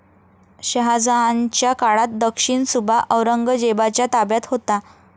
शहाजहानच्या काळात दक्षिणसुभा औरंगजेबाच्या ताब्यात होता.